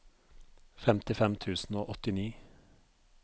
femtifem tusen og åttini